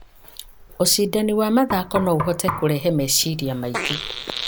Ũcindani wa mathako no ũhote kũrehe meciria maingĩ,